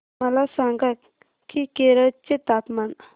मला सांगा की केरळ चे तापमान